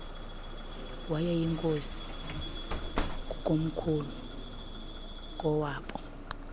wayeyinkosi kukomkhulu kowaaboo